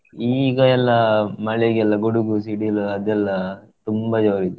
ಈಗ ಎಲ್ಲಾ ಮಳೆಗೆಲ್ಲಾ ಗುಡುಗು ಸಿಡಿಲು ಅದೆಲ್ಲ ತುಂಬಾ ಜೋರಿದೆ.